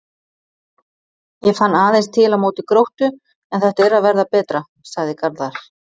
Ég fann aðeins til á móti Gróttu en þetta er að verða betra, sagði Garðar.